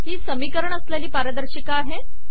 ही समीकरण असलेली पारदर्शिका आहे